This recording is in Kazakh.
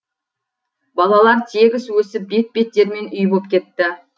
балалар тегіс өсіп бет беттерімен үй боп кетті